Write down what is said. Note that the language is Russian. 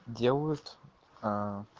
делают а